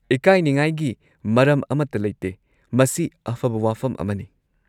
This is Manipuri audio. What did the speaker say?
ꯢꯟꯍꯦꯟꯁꯃꯦꯟꯠ ꯃꯔꯝ ꯑꯃꯠꯇ ꯂꯩꯇꯦ, ꯃꯁꯤ ꯑꯐꯕ ꯋꯥꯐꯝ ꯑꯃꯅꯤ꯫